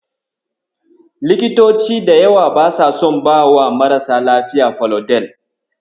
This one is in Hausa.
Likitoci da yawa basa son bawa marasa lafiya Falodel.